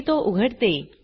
मी तो उघडते